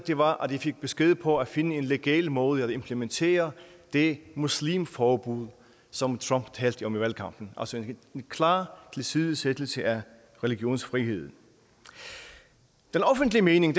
var at de fik besked på at finde en legal måde at implementere det muslimforbud som trump talte om i valgkampen altså en klar tilsidesættelse af religionsfriheden den offentlige mening